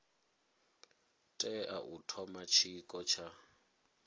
tea u thoma tshiko tsha